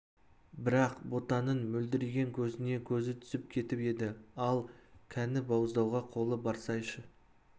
бірақ ботаның мөлдіреген көзіне көзі түсіп кетіп еді ал кәні бауыздауға қолы барсайшы